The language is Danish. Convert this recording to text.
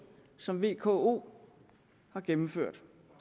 som vko har gennemført